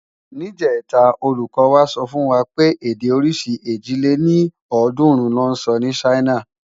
Nijètá ólúkò wá sòfúnwá wipé èdè órisi èjì lé ní ọ́ọ̀dúnrún lò nsò ni Ṣaina